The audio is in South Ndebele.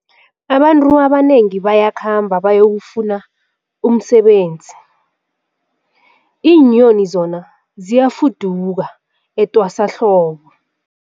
Abantu abanengi bayakhamba bayokufuna umsebenzi, iinyoni zona ziyafuduka etwasahlobo.